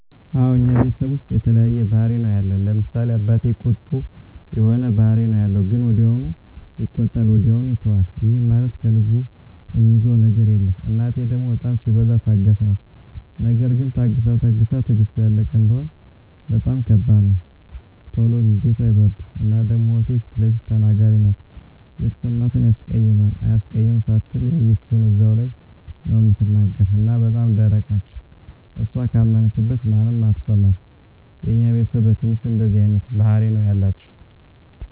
አወ እኛ ቤተሰብ ዉስጥ የተለያየ ባህሪ ነዉ ያለን፤ ለምሳሌ፦ አባቴ ቁጡ የሆነ ባህሪ ነዉ ያለዉ ግን ወዲያዉ ይቆጣል ወዲያዉ ይተወዋል ይህም ማለት ከልቡ እሚይዘዉ ነገር የለም፣ እናቴ ደሞ በጣም ሲበዛ ታጋሽ ናት ነገር ግን ታግሳ ታግሳ ትግስቷ ያለቀ እንደሆነ በጣም ከባድ ነዉ። ቶሎ ንዴቷ አይበርድም እና ደሞ እህቴ ፊለፊት ተናጋሪ ናት የተሰማትን ያስቀይማል አያስቀይምም ሳትል ያየችዉን እዛዉ ላይ ነዉ እምትናገር እና በጣም ደረቅ ነች እሷ ካመነችበት ማንንም አትሰማም። የኛ ቤተስብ በትንሹ እንደዚህ አይነት ባህሪ ነዉ ያላቸዉ።